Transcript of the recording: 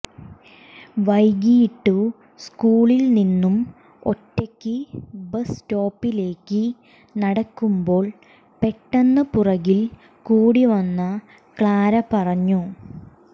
വൈകിയിട്ടു സ്കൂളിൽ നിന്നും ഒറ്റയ്ക്ക് ബസ് സ്റ്റോപ്പിൽലേക്ക് നടക്കുമ്പോൾ പെട്ടെന്ന് പുറകിൽ കൂടി വന്ന ക്ലാര പറഞ്ഞു